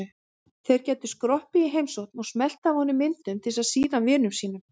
Þeir gætu skroppið í heimsókn og smellt af honum myndum til að sýna vinum sínum.